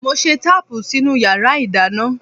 Mo ṣe táàpù sínú yàrá ìdáná.